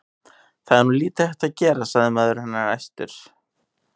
Það er nú lítið hægt að gera, sagði maður hennar æstur.